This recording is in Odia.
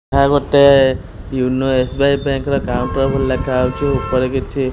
ଏହା ଗୋଟେ YONO S B I bank ର କାଉଣ୍ଟର ବୋଲି ଲେଖାଯାଇଛି ଉପରେ କିଛି--